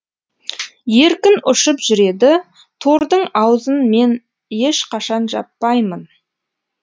еркін ұшып жүреді тордың аузын мен ешқашан жаппаймын